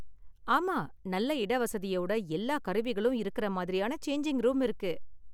ஆமா நல்ல இடவசதியோட எல்லா கருவிகளும் இருக்குற மாதிரியான சேஞ்சிங் ரூம் இருக்கு.